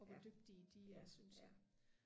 og hvor dygtige de er synes jeg